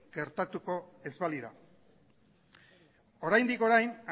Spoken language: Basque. gertatuko ez balira oraindik orain